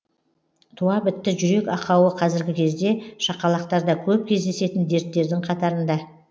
туа бітті жүрек ақауы қазіргі кезде шақалақтарда көп кездесетін дерттердің қатарында